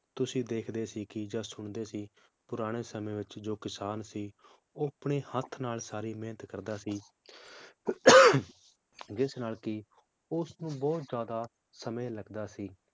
ਤੁਸੀਂ ਦੇਖਦੇ ਸੀ ਕਿ ਜਾਂ ਸੁਣਦੇ ਸੀ ਪੁਰਾਣੇ ਸਮੇ ਵਿਚ ਜੋ ਕਿਸਾਨ ਸੀ ਉਹ ਆਪਣੇ ਹੱਥ ਨਾਲ ਸਾਰੀ ਮੇਹਨਤ ਕਰਦਾ ਸੀ ਜਿਸ ਨਾਲ ਕਿ ਉਸਨੂੰ ਬਹੁਤ ਜ਼ਿਆਦਾ ਸਮੇ ਲਗਦਾ ਸੀ